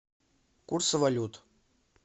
курсы валют